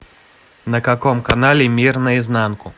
на каком канале мир наизнанку